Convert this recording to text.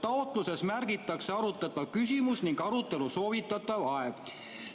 Taotluses märgitakse arutatav küsimus ning arutelu soovitav aeg.